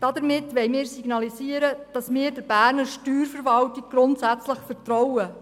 Damit wollen wir signalisieren, dass wir der Berner Steuerverwaltung grundsätzlich vertrauen.